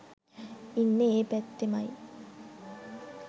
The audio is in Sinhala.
ඉන්නෙ ඒ පැත්තෙමයි.